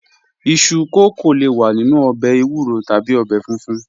Iṣu kókó le wà nínu òbè èwúrò tàbí òbè fúnfún